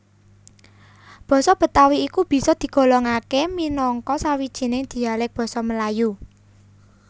Basa Betawi iku bisa digolongaké minangka sawijining dialèk Basa Melayu